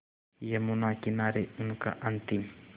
यमुना किनारे उनका अंतिम